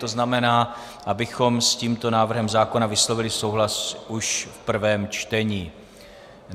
To znamená, abychom s tímto návrhem zákona vyslovili souhlas už v prvém čtení.